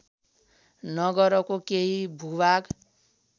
नगरको केही भूभाग